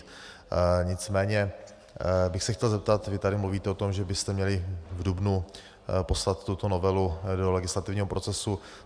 Nicméně bych se chtěl zeptat - vy tady mluvíte o tom, že byste měli v dubnu poslat tuto novelu do legislativního procesu.